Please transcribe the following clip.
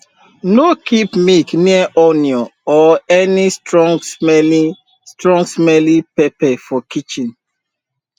no keep milk near onion or any strongsmelling strongsmelling pepper for kitchen